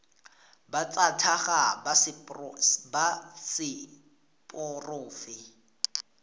ba tsa tlhago ba seporofe